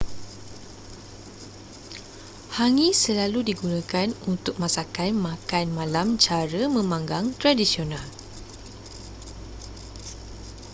hangi selalu digunakan untuk masakan makan malam cara memanggang tradisional